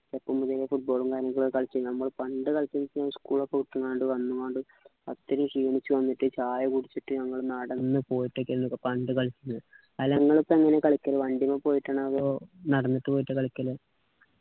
ഒന്നും ഇല്ലെങ്ങി football ഉം കാര്യങ്ങളും കളിച്ചു നമ്മൾ പണ്ട് കളിച്ച school ഒക്കെ വിട്ടു വന്നപാട് ഒറ്റൊരു ക്ഷീണിച്ചു വന്നിട്ട് ചായ കുടിച്ചിട്ട് നമ്മള് നടന്നുപോയിട്ടൊക്കെയാണ് പണ്ട് കളിച്ചത് അല്ല നിങ്ങളിപ്പോ എങ്ങനെയാ കളിക്കല് വണ്ടീമ്മ പോയിട്ടാണോ അതോ നടന്നിട്ടു പോയിട്ടാ കളിക്കല്